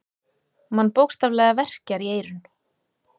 Mann bókstaflega verkjar í eyrun.